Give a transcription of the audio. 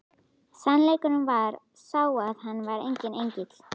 Sannleikurinn var sá að hann var enginn engill!